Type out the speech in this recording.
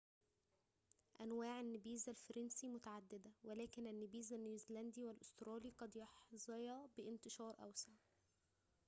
أنواع النبيذ الفرنسي متعددة ولكن النبيذ النيوزيلندي والأسترالي قد يحظيا بانتشار أوسع